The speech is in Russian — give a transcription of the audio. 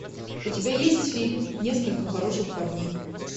у тебя есть фильм несколько хороших парней